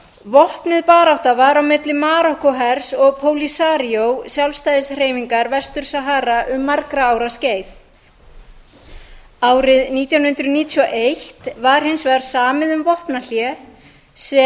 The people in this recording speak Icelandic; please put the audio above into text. vopnuð barátta var á milli marokkóhers og pólisaríó sjálfstæðishreyfingar vestur sahara um margra ára skeið árið nítján hundruð níutíu og eitt var hins vegar samið um vopnahlé